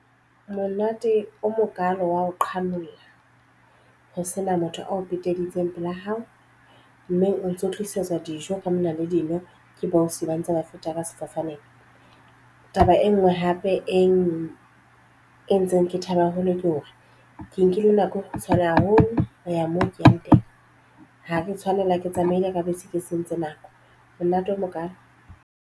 Monate o mokalo wa ho qhanolla ho sena motho ao peteditseng pela hao mme o ntso tlisetswa dijo ka mona le dino bo ausi ba ntse ba feta ka sefofaneng. Taba e nngwe hape entseng ke thabe haholo ke hore ke nkile nako e kgutshwane haholo ho ya moo ke yang teng. Ha re tshwanela ke tsamaile ka bese ke sentse nako monate o mokalo.